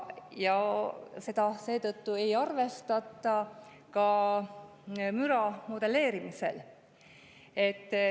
Seda ei arvestata seetõttu ka müra modelleerimisel.